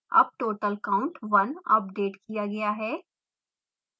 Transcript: अब total count 1 update किया गया है